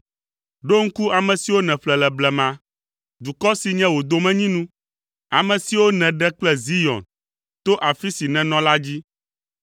Ɖo ŋku ame siwo nèƒle le blema, dukɔ si nye wò domenyinu, ame siwo nèɖe kple Zion, to afi si nènɔ la dzi.